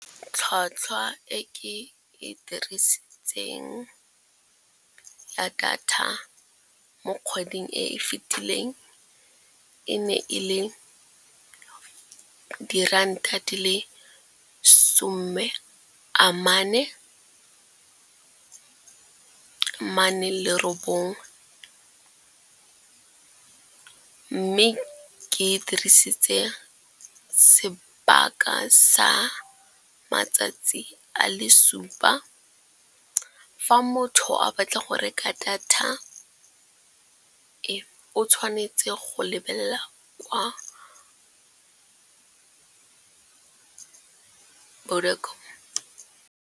Tlhwatlhwa e ke e dirisitseng ya data mo kgweding e fitileng e ne e le diranta di le some a mane le robongwe. Mme ke dirisitse sebaka sa matsatsi a le supa. Fa motho a batla go reka data e o tshwanetse go lebelela kwa .